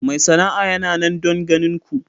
Mai sana'a yana nan don ganin ku.